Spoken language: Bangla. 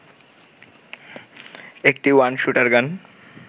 ১টি ওয়ান শুটারগান